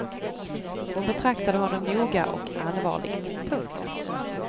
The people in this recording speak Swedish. Hon betraktade honom noga och allvarligt. punkt